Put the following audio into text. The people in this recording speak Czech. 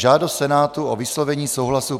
Žádost Senátu o vyslovení souhlasu